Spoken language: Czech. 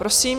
Prosím.